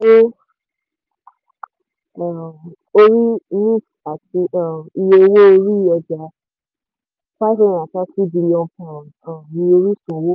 um um iye owó orí ọjà five hundred and thirty billion pounds um ni orísun owó.